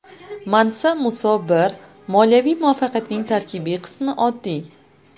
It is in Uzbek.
Mansa Muso I moliyaviy muvaffaqiyatining tarkibiy qismi oddiy.